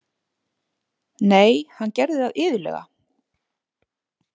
Nei, hann gerði það iðulega.